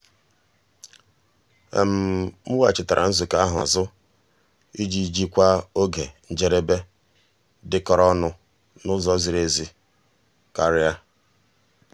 m weghachitere nzukọ ahụ azụ iji jikwaa oge njedebe dịkọrọ onụ n'ụzọ ziri ezi karịa.